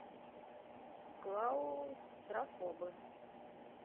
клаустрофобы